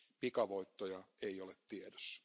Pikavoittoja ei ole tiedossa.